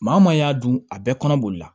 Maa o maa y'a dun a bɛɛ kɔnɔ bolila